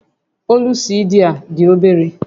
Ólú CD a dị obere